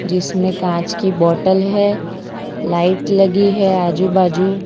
जिसमें कांच की बॉटल है लाइट लगी है आजू बाजू --